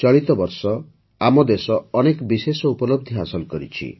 ଚଳିତ ବର୍ଷ ଆମ ଦେଶ ଅନେକ ବିଶେଷ ଉପଲବ୍ଧି ହାସଲ କରିଛି